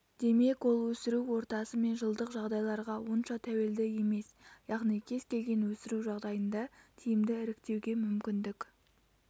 демек ол өсіру ортасы мен жылдық жағдайларға онша тәуелді емес яғни кез-келген өсіру жағдайында тиімді іріктеуге мүмкіндік